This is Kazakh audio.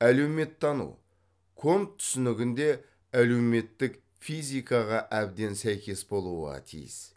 әлеуметтану конт түсінігінде әлеуметтік физикаға әбден сәйкес болуға тиіс